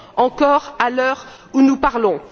encore à l'heure où nous parlons.